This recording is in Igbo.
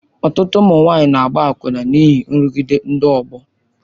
Ọtụtụ ụmụ nwanyị na-agba akwụna n'ihi nrụgide ndị ọgbọ.